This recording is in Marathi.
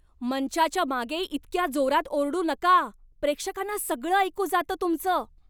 मंचाच्या मागे इतक्या जोरात ओरडू नका. प्रेक्षकांना सगळं ऐकू जातं तुमचं.